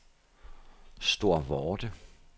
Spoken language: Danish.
Storvorde